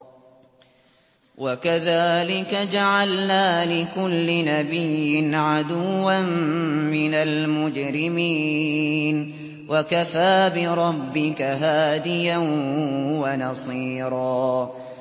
وَكَذَٰلِكَ جَعَلْنَا لِكُلِّ نَبِيٍّ عَدُوًّا مِّنَ الْمُجْرِمِينَ ۗ وَكَفَىٰ بِرَبِّكَ هَادِيًا وَنَصِيرًا